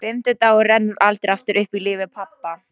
Fimmti dagurinn rennur aldrei aftur upp í lífi pabba.